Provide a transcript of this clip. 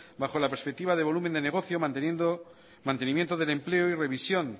bajo la perspectiva de volumen de negocio mantenimiento del empleo y revisión